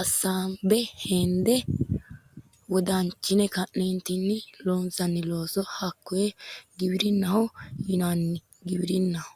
assanbe hende wodanchine ka'nneentinni loonsanni looso hakkoye giwirinnaho yinanni giwirinnaho.